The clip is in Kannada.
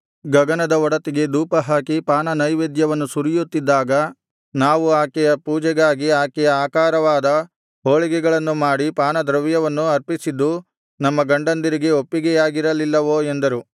ಗಗನದ ಒಡತಿಗೆ ಧೂಪಹಾಕಿ ಪಾನನೈವೇದ್ಯವನ್ನು ಸುರಿಯುತ್ತಿದ್ದಾಗ ನಾವು ಆಕೆಯ ಪೂಜೆಗಾಗಿ ಆಕೆಯ ಆಕಾರವಾದ ಹೋಳಿಗೆಗಳನ್ನು ಮಾಡಿ ಪಾನದ್ರವ್ಯವನ್ನು ಅರ್ಪಿಸಿದ್ದು ನಮ್ಮ ಗಂಡಂದಿರಿಗೆ ಒಪ್ಪಿಗೆಯಾಗಿರಲಿಲ್ಲವೋ ಎಂದರು